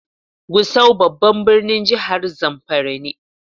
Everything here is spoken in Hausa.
Gusau babban birnin jihar zamfara ne.